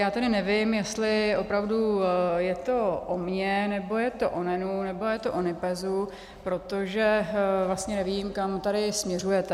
Já tedy nevím, jestli opravdu je to o mně, nebo je to o NENu, nebo je to o NIPEZu, protože vlastně nevím, kam tady směřujete.